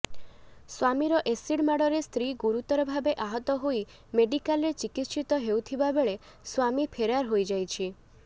ସ୍ୱାମୀର ଏସିଡ୍ ମାଡରେ ସ୍ତ୍ରୀ ଗୁରୁତର ଭାବେ ଆହତ ହୋଇ ମେଡିକାଲରେ ଚିକିତ୍ସିତ ହେଉଥିବାବେଳେ ସ୍ୱାମୀ ଫେରାର ହୋଇଯାଇଛି